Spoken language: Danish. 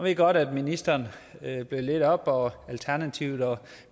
jeg godt at ministeren har blødt lidt op og at alternativet og